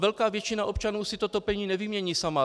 Velká většina občanů si to topení nevymění sama.